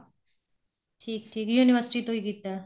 ਠੀਕ ਠੀਕ university ਤੋਂ ਹੀ ਕੀਤਾ